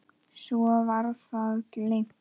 Svo var það gleymt.